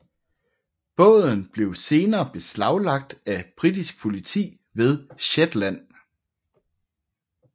Båden blev senere beslaglagt af britisk politi ved Shetland